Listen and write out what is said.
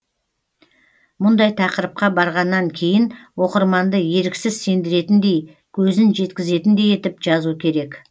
мұндай тақырыпқа барғаннан кейін оқырманды еріксіз сендіретіндей көзін жеткізетіндей етіп жазу керек